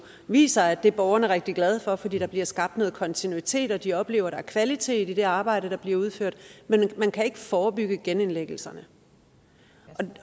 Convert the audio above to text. viser at det er borgerne rigtig glade for fordi der bliver skabt noget kontinuitet og de oplever at der er kvalitet i det arbejde der bliver udført men man kan ikke forebygge genindlæggelserne